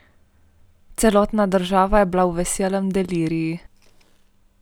Celotna država je bila v veselem deliriju.